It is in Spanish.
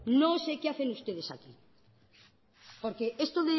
no sé qué hacen ustedes aquí porque esto